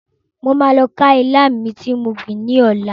Mo ma lọ ká ilá mi ti mo gbìn ni ọlá.